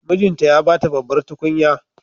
Mijinta ya ba ta babbar tukunya.